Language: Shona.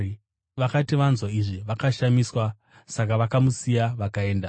Vakati vanzwa izvi, vakashamiswa. Saka vakamusiya vakaenda.